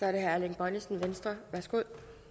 erling bonnesen venstre værsgo